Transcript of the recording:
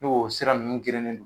N'o o sira ninnu g"elreen don